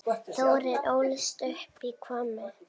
Þórir ólst upp í Hvammi.